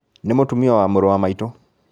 Nĩ mũtumia wa mũrũ wa maitũ.